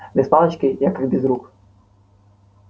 без палочки я как без рук